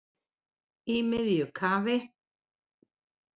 Í miðju kafi